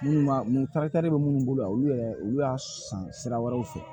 Minnu b'a mun bɛ minnu bolo yan olu yɛrɛ olu y'a san sira wɛrɛw fɛ